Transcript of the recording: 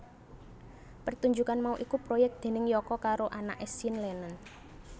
Pertunjukan mau iku proyek déning Yoko karo anaké Sean Lennon